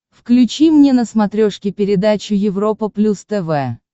включи мне на смотрешке передачу европа плюс тв